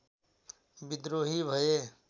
विद्रोही भए